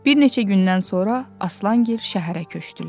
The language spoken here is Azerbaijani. Bir neçə gündən sonra Aslangil şəhərə köçdülər.